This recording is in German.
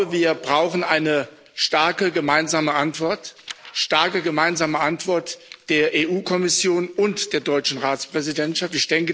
Wir brauchen eine starke gemeinsame Antwort, eine starke gemeinsame Antwort der EU Kommission und der deutschen Ratspräsidentschaft.